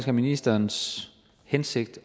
er ministerens hensigt